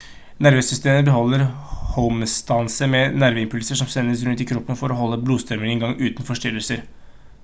nervesystemet beholder homeostase med nerveimpulser som sendes rundt i kroppen for å holde blodstrømmen i gang uten forstyrrelser